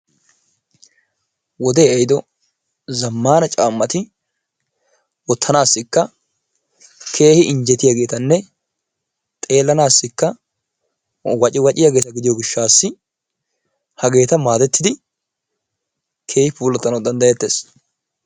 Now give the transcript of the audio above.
Wodee ehiiddo zammana caammati wottanassikka keehi injjetiyageettanne xeelanaassikka wacciwacciyageeta gidiyo gishshassi hageeta maadettidi keehi puulattanawu danddayettees.